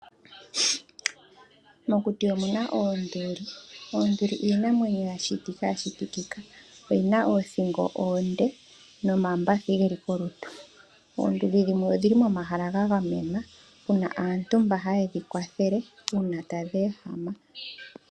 Mokuti omuna oonduli, oonduli iinamwenyo yashitikika yina oothingo oonde nomambathi geli kolutu. Oonduli dhimwe odhili momahala gagamenwa muna aantu hayedji kwathele uuna tadhi ehama.